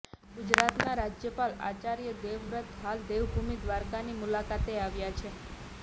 ગુજરાતના રાજયપાલ આચાર્ય દેવવ્રત હાલ દેવભૂમિ દ્વારકાની મુલાકાતે આવ્યા છે